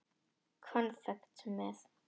Konfekt með.